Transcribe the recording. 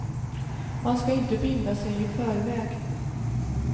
Man ska inte binda sig i förväg.